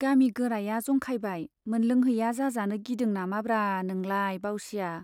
गामि गोराया जंखायबाय, मोनलोंहैया जाजानो गिदों नामाब्रा नोंलाय बाउसिया।